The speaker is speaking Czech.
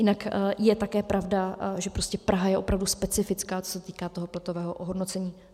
Jinak je také pravda, že Praha je opravdu specifická, co se týká toho platového ohodnocení.